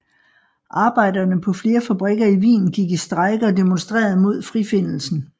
Arbejderne på flere fabrikker i Wien gik i strejke og demonstrerede mod frifindelsen